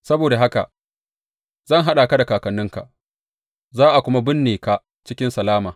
Saboda haka zan haɗa ka da kakanninka, za a kuma binne ka cikin salama.